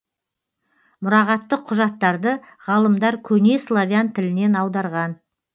мұрағаттық құжаттарды ғалымдар көне славян тілінен аударған